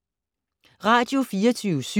Radio24syv